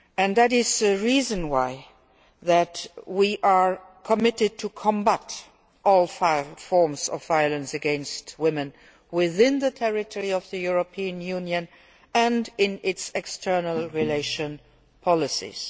That is the reason why we are committed to combating all forms of violence against women within the territory of the European Union and in its external relations policies.